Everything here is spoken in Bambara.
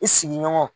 I sigiɲɔgɔnw